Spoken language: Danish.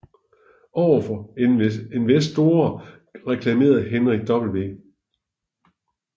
Over for investorer reklamerede Henry W